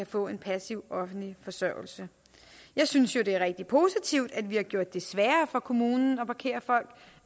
på en passiv offentlig forsørgelse jeg synes jo det er rigtig positivt at vi har gjort det sværere for kommunen at parkere folk